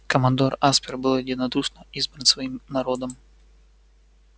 командор аспер был единодушно избран своим народом